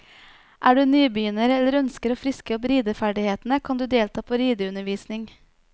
Er du nybegynner, eller ønsker å friske opp rideferdighetene, kan du delta på rideundervisning.